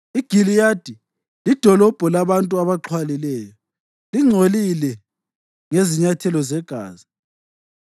IGiliyadi lidolobho labantu abaxhwalileyo. Lingcolile ngezinyathelo zegazi